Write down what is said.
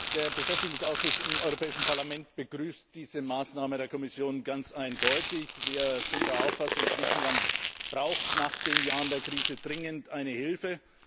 Der Beschäftigungsausschuss im Europäischen Parlament begrüßt diese Maßnahme der Kommission ganz eindeutig. Wir sind der Auffassung Griechenland braucht nach den Jahren der Krise dringend Hilfe.